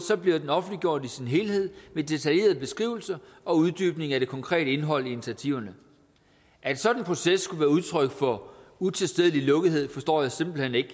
bliver den offentliggjort i sin helhed med detaljeret beskrivelse og uddybning af det konkrete indhold i initiativerne at en sådan proces skulle være udtryk for utilstedelig lukkethed forstår jeg simpelt hen ikke